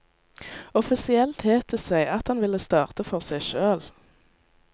Offisielt het det seg at han ville starte for seg sjøl.